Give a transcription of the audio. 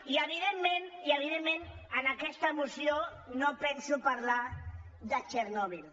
i evident·ment en aquesta moció no penso parlar de txernòbil